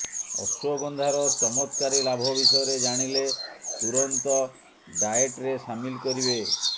ଅଶ୍ୱଗନ୍ଧାର ଚମତ୍କାରୀ ଲାଭ ବିଷୟରେ ଜାଣିଲେ ତୁରନ୍ତ ଡାଏଟରେ ସାମିଲ କରିବେ